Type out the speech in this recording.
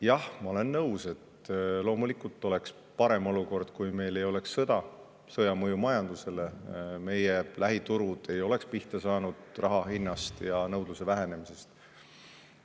Jah, ma olen nõus, et loomulikult oleks parem olukord, kui meil ei oleks sõda, sõja mõju majandusele, meie lähiturud ei oleks pihta saanud raha hinnast ja nõudluse vähenemisest.